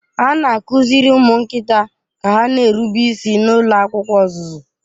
A na-akụziri ụmụ nkịta ka ha na-erube isi n'ụlọ akwụkwọ ọzụzụ.